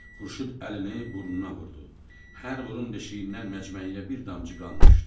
Xurşud əlini burnuna vurdu, hər burun deşiyindən məcməyə bir damcı qan düşdü.